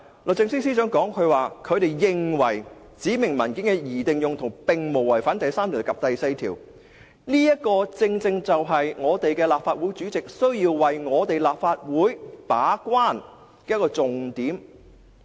律政司司長認為，"指明文件的擬定用途並無違反第3及第4條的規定"，這正正是立法會主席須為立法會把關的一個重點。